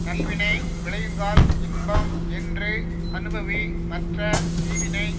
நல்வினை விளையுங்கால் இன்பம் என்று அனுபவி மற்ற தீவினை